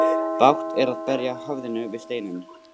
Bágt er að berja höfðinu við steinninn.